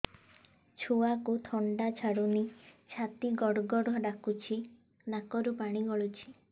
ଛୁଆକୁ ଥଣ୍ଡା ଛାଡୁନି ଛାତି ଗଡ୍ ଗଡ୍ ଡାକୁଚି ନାକରୁ ପାଣି ଗଳୁଚି